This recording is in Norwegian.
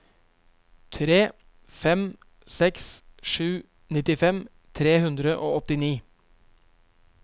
tre fem seks sju nittifem tre hundre og åttini